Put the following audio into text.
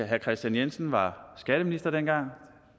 herre kristian jensen var skatteminister dengang